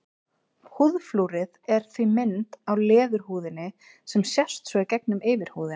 Húðflúrið er því mynd á leðurhúðinni sem sést svo í gegnum yfirhúðina.